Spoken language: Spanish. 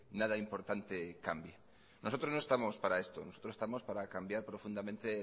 nada importante cambie nosotros no estamos para esto nosotros estamos para cambiar profundamente